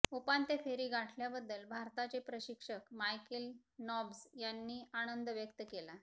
उपांत्य फेरी गाठल्याबद्दल भारताचे प्रशिक्षक मायकेल नॉब्ज यांनी आनंद व्यक्त केला